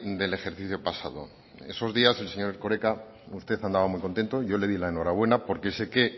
del ejercicio pasado esos días el señor erkoreka usted andaba muy contento yo le di la enhorabuena porque sé que